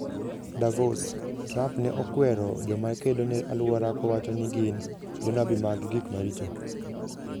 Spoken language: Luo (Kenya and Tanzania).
Davos: Trump ne okwero joma kedo ne alwora kowacho ni gin "jonabi mag gik maricho"